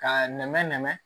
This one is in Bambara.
K'a nɛmɛ nɛmɛ